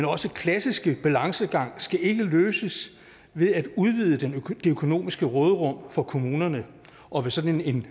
også klassiske balancegang skal ikke løses ved at udvide det økonomiske råderum for kommunerne og ved sådan en